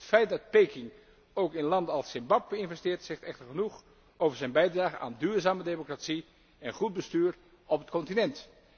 Het feit dat Peking ook in landen als Zimbabwe investeert, zegt echter genoeg over zijn bijdrage aan duurzame democratie en goed bestuur in dit continent.